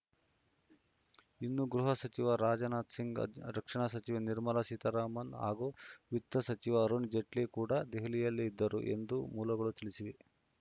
ಇನ್ನು ಗೃಹ ಸಚಿವ ರಾಜನಾಥ್‌ ಸಿಂಗ್‌ ರಕ್ಷಣಾ ಸಚಿವೆ ನಿರ್ಮಲಾ ಸೀತಾರಾಮನ್‌ ಹಾಗೂ ವಿತ್ತ ಸಚಿವ ಅರುಣ್‌ ಜೇಟ್ಲಿ ಕೂಡ ದೆಹಲಿಯಲ್ಲೇ ಇದ್ದರು ಎಂದು ಮೂಲಗಳು ತಿಳಿಸಿವೆ